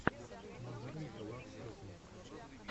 мандаринкалав сетин